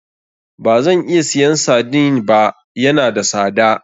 Bazan iya siyan sardine ba, ya na da sada.